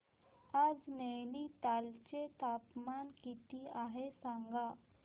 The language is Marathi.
आज नैनीताल चे तापमान किती आहे सांगा